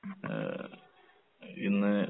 ഏഹ് ഇന്ന്